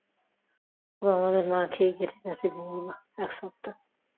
ও আমাদের না খেয়ে গেছে দিনগুলো এক সপ্তাহ